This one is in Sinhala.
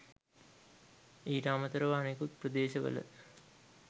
ඊට අමතරව අනෙකුත් ප්‍රදේශවල